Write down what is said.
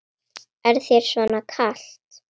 Er þér svona kalt?